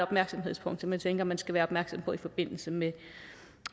punkt som jeg tænker man skal være opmærksom på i forbindelse med